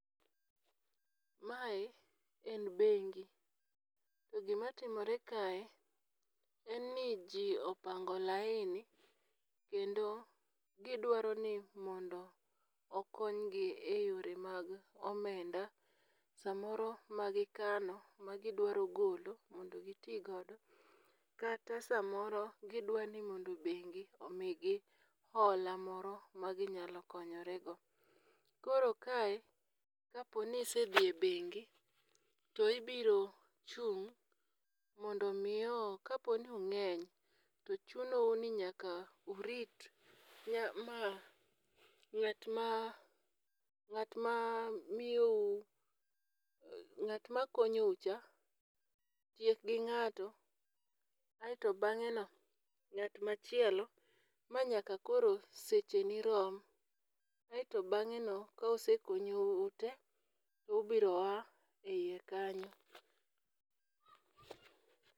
Mae en beng'i, to gimatimore kae en ni ji opango laini kendo gidwaro ni mondo okonygi e yore mag omenda, samoro magikano magidwaro golo mondo giti gondo, kata samoro gidwaro ni beng'i omigi hola moro maginyalo konyorego. Koro kae kaponi isedhie beng'i to ibiro chung' mondo miyo kaponi ung'eny to chunou ninyaka urit ma ng'at ma ng'at ma miyou ng'at ma konyou cha tiek gi ng'ato, aeto bang'eno ng'at machielo manyaka koro secheni rom, aeto bang'eno ka osekonyou te tubiro ya e hiye kanyo.